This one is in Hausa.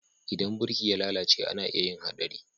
Idan birki ya lalace ana iya yin Haɗari.